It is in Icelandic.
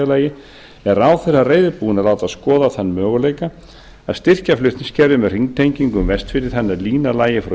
lagi er ráðherra reiðubúinn að láta skoða þann möguleika að styrkja flutningskerfið með hringtengingu um vestfirði þannig að línan lægi frá